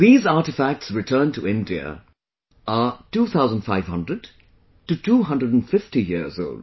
These artefacts returned to India are 2500 to 250 years old